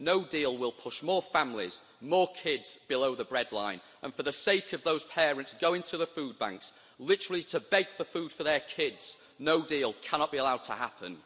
No deal will push more families, more kids, below the bread line and for the sake of those parents going to the food banks, literally to beg for food for their kids, no deal cannot be allowed to happen.